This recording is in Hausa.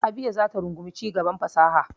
Abia za ta rungumi cigaban fasaha.